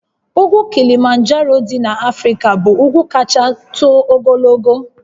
Ugwu Kilimanjaro dị n'Africa bụ ugwu kacha too ogologo